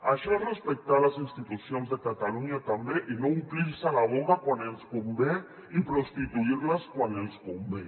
això és respectar les institucions de catalunya també i no omplir se la boca quan ens convé i prostituir les quan ens convé